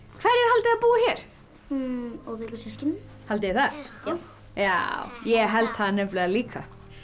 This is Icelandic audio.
hverjir haldið þið að búi hér óþekku systkinin haldið þið það já ég held það nefnilega líka